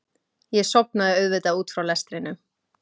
Ég sofnaði auðvitað út frá lestrinum.